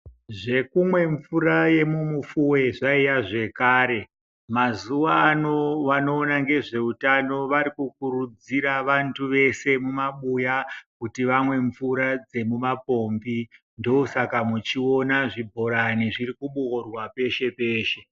Zvekumwe mvura yemumufuwe zvaiya zvekare .Mazuvano vanoona ngezveutano varikukurudzira vantu vese mumabuya kuti vamwe mvura dzemumapombi ndosaka muchiona zvibhorani zvirikuboorwa peshe peshe.